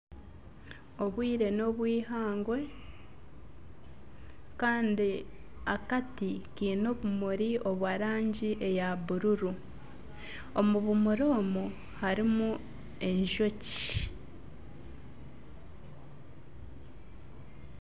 Obwire n'obwihangwe Kandi akati Kiine obumuri obwa rangi eya bururu omu bumuri omu harimu enjoki.